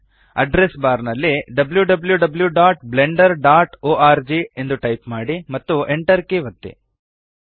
address bar ನಲ್ಲಿ wwwblenderorg type ಮಾಡಿ ಮತ್ತು Enter ಕೀ ಒತ್ತಿ